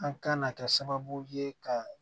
An kan ka kɛ sababu ye ka